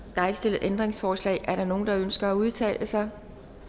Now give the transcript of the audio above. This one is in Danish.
stillet ændringsforslag er der nogen der ønsker at udtale sig